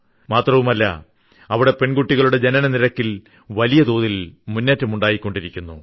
മാത്രമല്ല അവിടെ പെൺകുട്ടികളുടെ ജനനനിരക്കിൽ വലിയ തോതിൽ മുന്നേറ്റമുണ്ടായിക്കൊണ്ടിരിക്കുന്നു